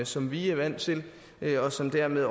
som vi er vant til og som dermed